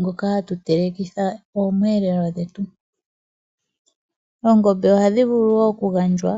ngoka ha tu telekitha oomweeleo dhetu. Oongombe oha dhi vulu wo oku gandjwa